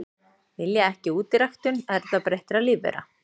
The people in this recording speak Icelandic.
Vilja ekki útiræktun erfðabreyttra lífvera